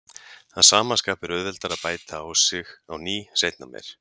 Að sama skapi er auðveldara að bæta á sig á ný seinna meir.